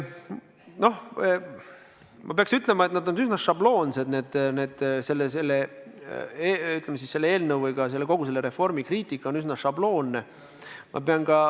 No ma peaks ütlema, et selle eelnõu või ka kogu selle reformi kriitika on üsna šabloonne.